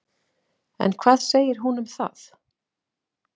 En hvað segir hún um það?